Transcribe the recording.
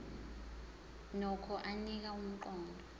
nokho anika umqondo